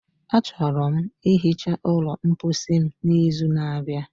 Achọrọ m ihicha ụlọ mposi m n'izu n'abịa.